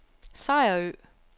Sejerø